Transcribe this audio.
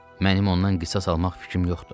Mənim ondan qisas almaq fikrim yoxdur.